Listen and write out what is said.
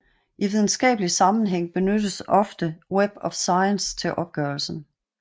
I videnskabelig sammenhæng benyttes ofte Web of Science til opgørelsen